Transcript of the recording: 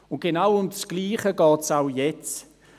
Und genau um das Gleiche geht es auch jetzt.